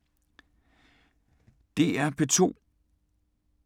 DR P2